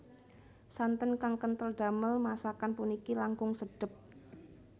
Santen kang kentel damel masakan puniki langkung sedep